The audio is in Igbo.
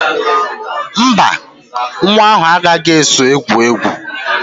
Mba, nwa ahụ agaghị eso gị gwuo egwu